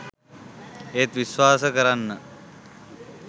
ඒත් විශ්වාස කරන්න